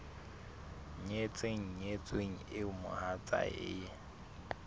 nyetseng nyetsweng eo mohatsae e